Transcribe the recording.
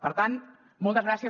per tant moltes gràcies